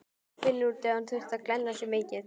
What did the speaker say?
Og finnur út hvað hann þurfi að glenna sig mikið.